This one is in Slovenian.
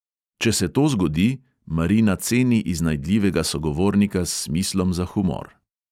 Če se to zgodi, marina ceni iznajdljivega sogovornika s smislom za humor.